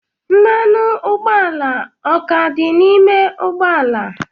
Mmanụ ụgbọala o ka dị n'ime ụgbọ ala?